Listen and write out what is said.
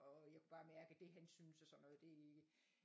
Og jeg kunne bare mærke at det hensyn til sådan noget det ikke